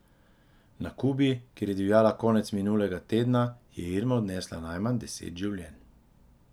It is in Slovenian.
Na Kubi, kjer je divjala konec minulega tedna, je Irma odnesla najmanj deset življenj.